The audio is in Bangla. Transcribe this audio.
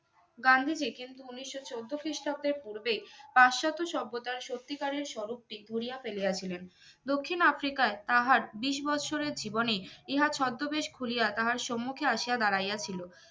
গান্ধীজি কিন্তু উনিশশো চোদ্দো খ্রিস্টাব্দে পূর্বে পাশ্চাত্যে সভ্যতার সত্যিকারের স্বরূপটি ভুলিয়া ফেলিয়া ছিলেন দক্ষিণ আফ্রিকায় তাহার বিশ বছরের জীবনে ইহা ছদ্মবেশ খুলিয়া তাহার সম্মুখে আসিয়া দাঁড়াইয়া ছিল